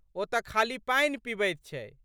ओ त खाली पानि पीबैत छै।